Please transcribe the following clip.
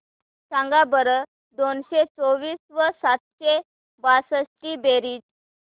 सांगा बरं दोनशे चोवीस व सातशे बासष्ट ची बेरीज